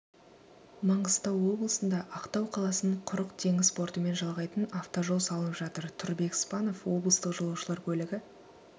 маңғыстау облысында ақтау қаласын құрық теңіз портымен жалғайтын автожол салынып жатыр тұрбек спанов облыстық жолаушылар көлігі